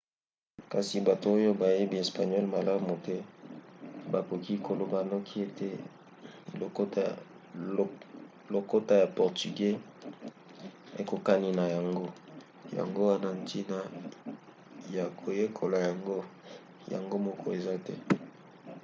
kasi bato oyo bayebi espagnole malamu te bakoki koloba noki ete lokota ya portugeux ekokani na yango yango wana ntina ya koyekola yango yango moko eza te